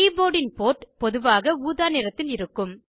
கீபோர்டின் port பொதுவாக ஊதா நிறத்தில் இருக்கும்